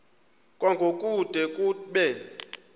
kwango kude kube